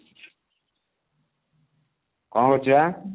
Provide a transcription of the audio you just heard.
କଣ କରୁଛୁ ବା?